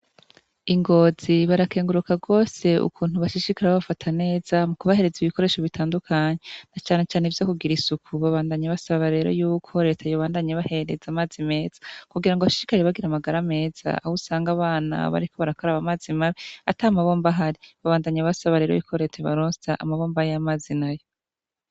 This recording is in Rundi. Ingozi barakenguruka gose ukuntu bashishikara babafata neza mukubahereza ibikoresho bitandukanye nacanecane ivyo kugira isuku. Babandanya basaba yuko reta yobarosa n'amazi meza kugira bashishikare bagira amagara meza ahusanga abana bariko barakaraba amazi mabi atamabomb'ahari. Babandanya basaba rero yuko reta yobarosa amabomba y'amazi meza.